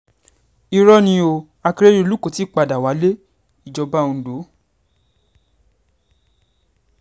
irọ́ ni o akérèdọ́lù kó tì í padà wálé-ìjọba ondo